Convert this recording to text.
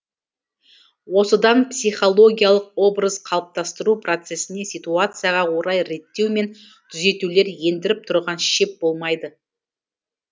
осыдан психологиялық образ қалыптастыру процесіне ситуацияға орай реттеу мен түзетулер ендіріп тұрған шеп болмайды